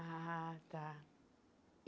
Ah, tá.